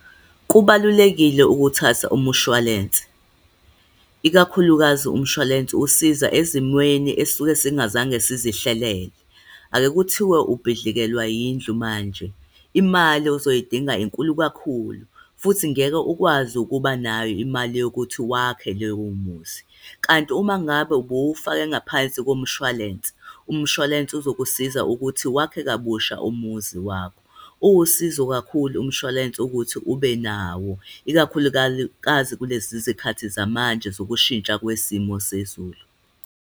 Kubalulekile ukuthatha umshwarense, ikakhulukazi umshwalense usiza ezimweni esisuke singazange sizihlelele. Ake kuthiwe ubhidlikelwa yindlu manje, imali ozoyidinga inkulu kakhulu, futhi ngeke ukwazi ukuba nayo imali yokuthi wakhe leyo muzi. Kanti uma ngabe ubuwufake ngaphansi komshwalense, umshwalense uzokusiza ukuthi wakhe kabusha umuzi wakho. Uwusizo kakhulu umshwalense ukuthi ube nawo ikakhulukazi kulezi zikhathi zamanje zokushintsha kwesimo sezulu.